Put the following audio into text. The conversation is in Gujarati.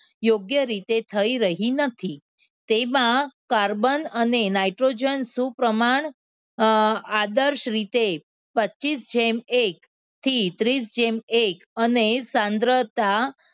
યોગ્ય રીતે થઈ રહી નથી તેમાં carbon અને nitrogen આદર્શ રીતે પચીસ જેમ એક થી ત્રીસ જેમ એક અને સાંદ્રતા